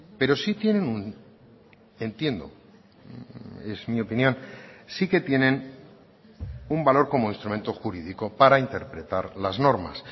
pero sí tienen entiendo es mi opinión sí que tienen un valor como instrumento jurídico para interpretar las normas